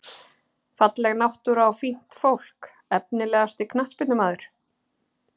Falleg náttúra og fínt fólk Efnilegasti knattspyrnumaður?